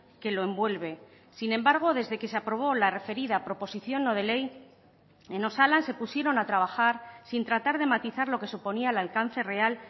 que lo envuelve sin embargo desde que se aprobó la referida proposición no de ley en osalan se pusieron a trabajar sin tratar de matizar lo que suponía el alcance real